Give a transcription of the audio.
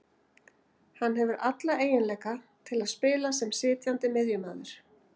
Hann hefur alla eiginleika til að spila sem sitjandi miðjumaður